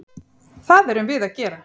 Það erum við að gera.